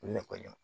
Ne kɔni